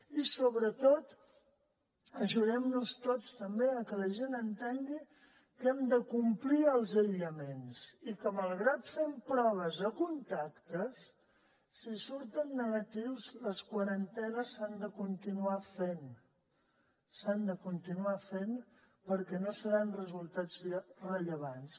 i sobretot ajudem nos tots també a que la gent entengui que hem de complir els aïllaments i que malgrat que fem proves a contactes si surten negatius les quarantenes s’han de continuar fent s’han de continuar fent perquè no seran resultats rellevants